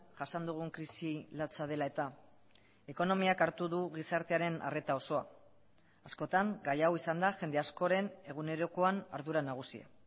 jasan dugun krisi latsa dela eta ekonomiak hartu du gizartearen arreta osoa askotan gai hau izan da jende askoren egunerokoan ardura nagusia